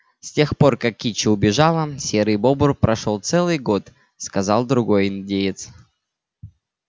с тех пор как кичи убежала серый бобр прошёл целый год сказал другой индеец